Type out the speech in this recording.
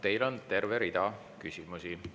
Teile on terve rida küsimusi.